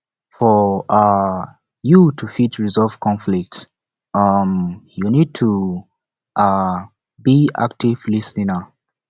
for um you to fit resolve conflict um you need to um be active lis ten er